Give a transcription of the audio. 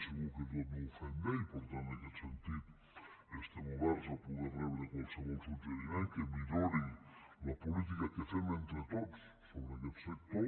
segur que tot no ho fem bé i per tant en aquest sentit estem oberts a poder rebre qualsevol suggeriment que millori la política que fem entre tots sobre aquest sector